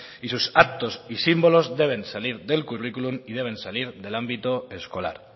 y sus actos y símbolos deben salir del currículum y deben salir del ámbito escolar